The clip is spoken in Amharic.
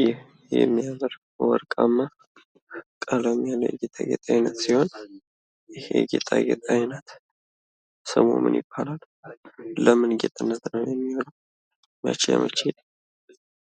ይህ የሚያምር ወርቃማ ቀለም ያለው ጌጣጌጥ አይነት ሲሆን ፤ ይህ የጌጣጌጥ አይነት ስሙ ምን ይባላል? ለምን ጌጥነት ነው የሚውለው? መቼ መቼ